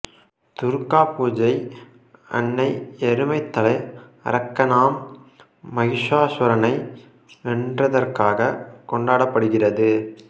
துர்கா பூஜை அன்னை எருமைத்தலை அரக்கனாம் மகிஷாசுரனை வென்றதற்காக கொண்டடபடுகிறது